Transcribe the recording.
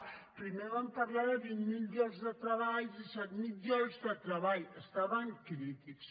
primer van parlar de vint mil llocs de treball disset mil llocs de treball estaven crítics